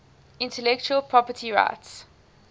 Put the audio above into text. intellectual property rights